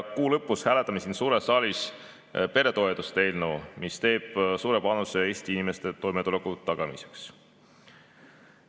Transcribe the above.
Kuu lõpus hääletame siin suures saalis peretoetuste eelnõu, mis annab suure panuse Eesti inimeste toimetuleku tagamiseks.